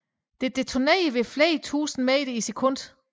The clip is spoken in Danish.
Det detonerer ved flere tusinde meter i sekundet